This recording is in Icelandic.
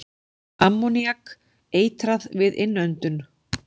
Ammoníak- Eitrað við innöndun.